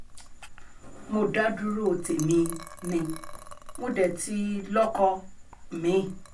mo dá dúró tèmi um ni mo dé ti lọ́kọ um mi-ín